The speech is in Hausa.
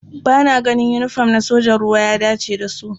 Ba na ganin yinifom na sojojin ruwa ya dace da su.